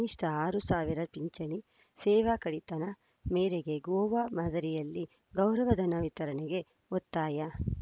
ಕನಿಷ್ಠ ಆರು ಸಾವಿರ ಪಿಂಚಣಿ ಸೇವಾ ಕಡಿತನ ಮೇರೆಗೆ ಗೋವಾ ಮಾದರಿಯಲ್ಲಿ ಗೌರವ ಧನ ವಿತರಣೆಗೆ ಒತ್ತಾಯ